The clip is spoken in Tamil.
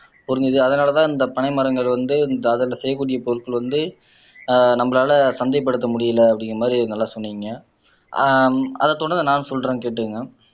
புரிஞ்சுது அதனாலேதான் இந்த பனை மரங்கள் வந்து அதிலே செய்யக்கூடிய பொருட்கள் வந்து ஆஹ் நம்மளால சந்தைப்படுத்த முடியலை அப்படிங்கிற மாதிரி நல்லா சொன்னீங்க ஆஹ் அதை தொடர்ந்து நான் சொல்றேன் கேட்டுக்கோங்க